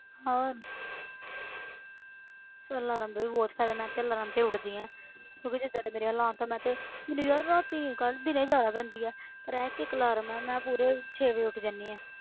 ਹੋਰ ਪਰ alarm ਦਾ ਵੀ ਬਹੁਤ ਫ਼ਾਇਦਾ ਮੈਂ ਤੇ alarm ਤੇ ਉੱਠਦੀ ਹਾਂ ਕਿਉਂਕਿ ਜਿੱਦਾਂ ਦੇ ਮੇਰੇ ਹਾਲਾਤ ਹੈ ਮੈਂ ਤੇ ਮੈਨੂੰ ਯਾਰ ਰਾਤੀ ਨੀਂਦ ਘੱਟ ਦਿਨੇ ਜ਼ਿਆਦਾ ਪੈਂਦੀ ਹੈ ਪਰ ਇਹ ਇੱਕ alarm ਨਾਲ ਮੈਂ ਪੂਰੇ ਛੇ ਵਜੇ ਉੱਠ ਜਾਂਦੀ ਹਾਂ।